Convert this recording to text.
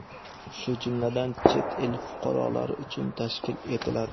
shu jumladan chet el fuqarolari uchun tashkil etiladi.